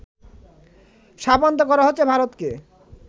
শাপান্ত করা হচ্ছে ভারতকে